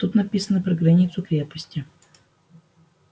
тут написано про границу крепости